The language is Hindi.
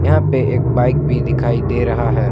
यहां पे एक बाइक भी दिखाई दे रहा है।